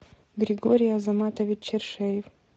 григорий азаматович чершеев